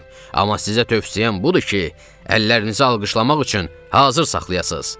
Amma sizə tövsiyəm budur ki, əllərinizi alqışlamaq üçün hazır saxlayasız.